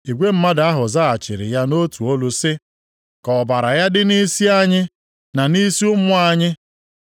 Igwe mmadụ ahụ zaghachiri ya nʼotu olu sị, “Ka ọbara ya dị nʼisi anyị na nʼisi ụmụ anyị!”